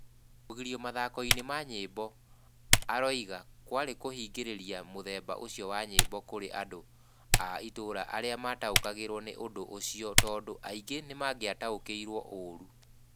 Kũgirio mathako-inĩ ma nyĩmbo, aroiga, kwarĩ kũhingĩrĩria mũthemba ũcio wa nyĩmbo kũrĩ andũ a ĩtũũra arĩa mataũkanagĩrwo nĩ ũndũ ũcio tondũ angĩ nĩ mangĩataũkĩirwo ũũru.